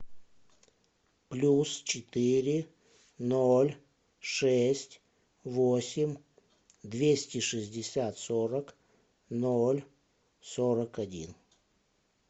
плюс четыре ноль шесть восемь двести шестьдесят сорок ноль сорок один